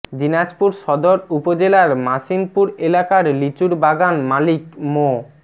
দিনাজপুর সদর উপজেলার মাসিমপুর এলাকার লিচুর বাগান মালিক মো